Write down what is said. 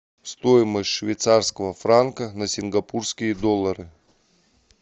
стоимость швейцарского франка на сингапурские доллары